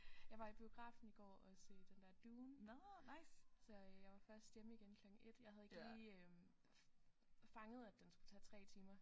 Jeg var i biografen i går og se den der Dune så øh jeg var først hjemme igen klokken 1 jeg havde ikke lige øh fanget at den skulle tage 3 timer